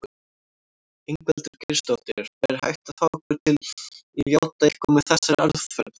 Ingveldur Geirsdóttir: Væri hægt að fá ykkur til játa eitthvað með þessari aðferð?